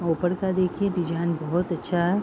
ऊपर का देखिए डिजाइन बहुतअच्छा है।